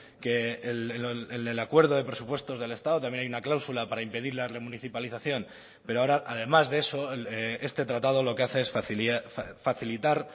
que el del acuerdo de presupuestos del estado también hay una cláusula para impedir la remunicipalización pero ahora además de eso este tratado lo que hace es facilitar